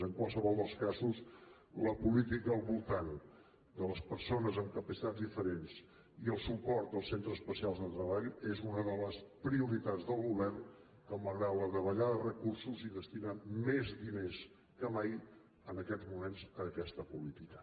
en qualsevol dels casos la política al voltant de les persones amb capacitats diferents i el suport als centres especials de treball és una de les prioritats del govern que malgrat la davallada de recursos hi destina més diners que mai en aquests moments a aquesta política